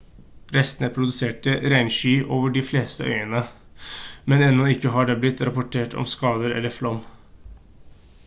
restene produserte regnskyll over de fleste øyene men ennå har det ikke blitt rapportert om skader eller flom